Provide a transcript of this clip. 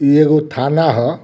इ एगो थाना ह।